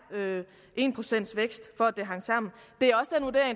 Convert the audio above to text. en vækst på at det hang sammen det